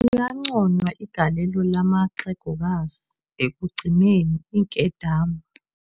Liyanconywa igalelo lamaxehegokazi ekugcineni iinkedama.